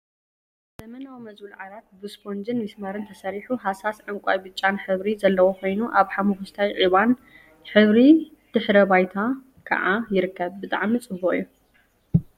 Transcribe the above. ዘመናዊ መዝቡል ዓራት ብስፖንጅን ሚስማርን ተሰሪሑ ሃሳስ ዕንቃይን ብጫን ሕብሪ ዘለዎ ኮይኑ ኣብ ሓመኩሽታይን ዒባን ሕብሪ ድሕረ ባይታ ከዓ ይርከብ። ብጣዕሚ ጽቡቅ እዩ።